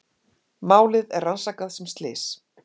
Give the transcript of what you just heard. Málið er rannsakað sem slys